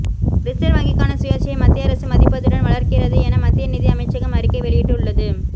reserve வங்கிக்கான சுயாட்சியை மத்திய அரசு மதிப்பதுடன் வளர்க்கிறது என மத்திய நிதி அமைச்சகம் அறிக்கை வெளியிட்டு உள்ளது